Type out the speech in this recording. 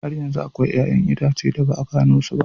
Har yanzu akwai 'ƴa'ƴan itace da ba a gano su ba.